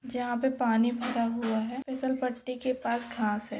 यहा पे पानी भरा हुआ है। फिसेल पटी के पास घास है।